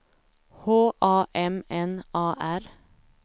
H A M N A R